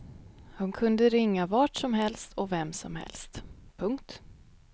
Hon kunde ringa vart som helst och vem som helst. punkt